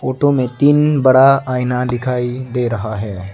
Photo में तीन बड़ा आईना दिखाई दे रहा है।